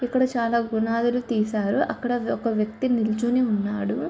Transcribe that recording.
ఇక్కడ చాలా పునాధులు తీశారు. అక్కడ ఒక వ్యక్తి నిల్చొని ఉన్నాడు.